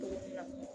Cogo min na